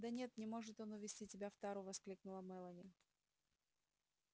да нет не может он увезти тебя в тару воскликнула мелани